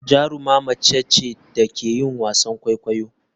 Jaruma mace ce da ke yin wasan kwaikwayo.